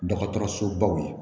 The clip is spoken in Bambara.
Dɔgɔtɔrɔsobaw ye